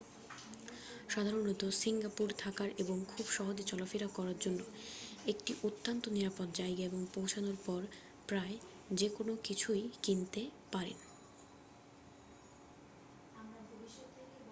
সাধারণত সিঙ্গাপুর থাকার এবং খুব সহজে চলা-ফেরা করার জন্য একটি অত্যন্ত নিরাপদ জায়গা এবং পৌঁছানোর পর প্রায় যেকোন কিছুই কিনতে পারেন